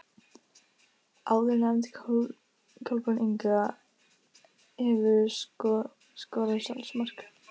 Áðurnefnd Kolbrún Inga Hefurðu skorað sjálfsmark?